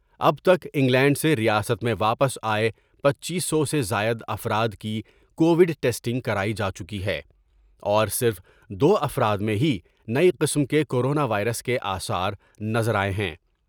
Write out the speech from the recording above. اب تک انگلینڈ سے ریاست میں واپس آۓ پنچیس سو سے زائد افراد کی کوڈ ٹیسٹنگ کرائی جا چکی ہے ، اور صرف دوافراد میں ہی نئی قسم کے کورونا وائرس کے آثار نظر آۓ ہیں ۔